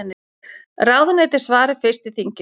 Ráðuneyti svari fyrst í þinginu